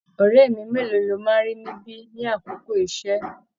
Ọrẹ mi mélòó lọ máa n rí níbi l'akoko iṣẹ?